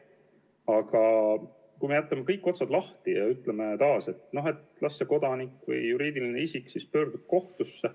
Aga kui me jätame kõik otsad lahti ja ütleme taas, et las see kodanik või juriidiline isik pöördub kohtusse.